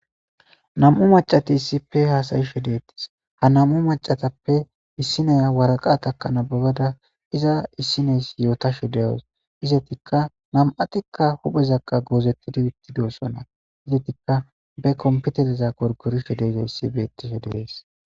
nam7u macati issipe haasayishe deettis ha nam7u macatappe issineya waraqatakanabagada iza issineys yootashe deyes izetikka nam7atikka huphezakqa goozettidi itti deosonna izetikka be kompitereza korgorishe deeza yssi beettishe deyees